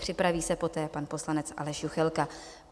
Připraví se poté pan poslanec Aleš Juchelka.